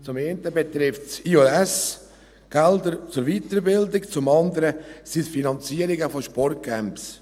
Einerseits betrifft es «J+S»-Gelder zur Weiterbildung, zum anderen sind es Finanzierungen von Sportcamps.